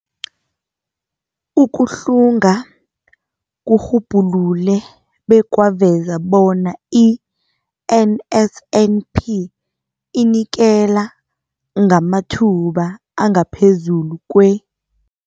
Ukuhlunga kurhubhulule bekwaveza bona i-NSNP inikela ngamathuba angaphezulu kwe-